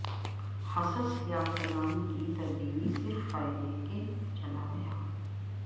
حصص یافتگان کی تبدیلی صرف فائدے کے چلا گیا